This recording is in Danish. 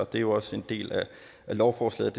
det er jo også en del af lovforslaget